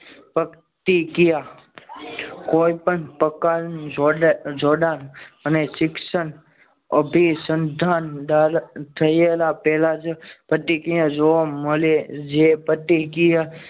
પ્રતિક્રિયા કોઈ પણ પ્રકારે જોડાણ અને શિક્ષણ અભિસંધાનકારક થયેલા પહેલા જ પ્રતિક્રિયા જોવા મળે જે પ્રતિક્રિયા